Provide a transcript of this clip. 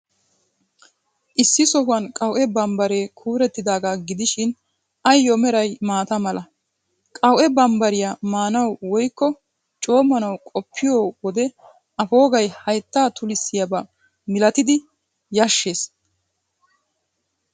Issi sohuwan qawu'e bambbaree kuurettidaaga gidishin, ayyo meray maata mala. Qawu'e bambbariyaa maanawu woykko coommanawu qoppiyo wode A poogay hayttaa tullissiyaba malatidi yashshees.